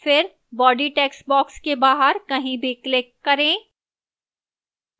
फिर body textbox के बाहर कहीं भी click करें